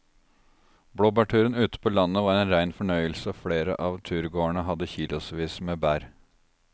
Blåbærturen ute på landet var en rein fornøyelse og flere av turgåerene hadde kilosvis med bær.